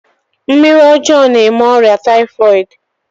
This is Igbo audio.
Mmiri ọjọọ na-eme ọrịa taifọd.